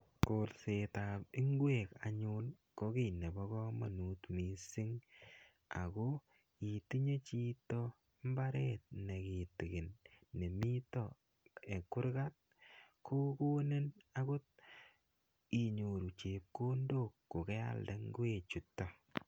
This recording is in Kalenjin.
Kolsetab ingwek anyun ko kiy nebo kamanut mising, ako itinye chito mbaret ne kitikin ne mito kurgat, ko konin akot inyoru chepkondok ko kealde ngwechuto.